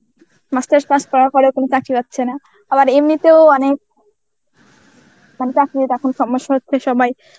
master's pass করার পরেও কোন চাকরি পাচ্ছে না. আবার এমনিতেও অনেক মানে চাকরির এখন সমস্যা হচ্ছে সবাই